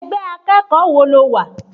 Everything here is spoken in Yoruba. Ẹgbẹ́ akẹ́kọ̀ọ́ wo lo wà?